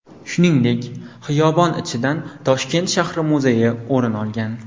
Shuningdek, xiyobon ichidan Toshkent shahri muzeyi o‘rin olgan .